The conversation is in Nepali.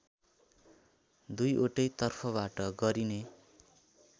दुईवटै तर्फबाट गरिने